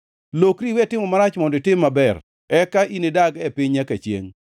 Lokri iwe timo marach mondo itim maber; eka inidag e piny nyaka chiengʼ.